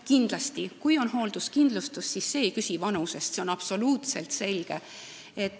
Kindlasti, kui on hoolduskindlustus, siis see ei küsi vanusest, see on absoluutselt selge.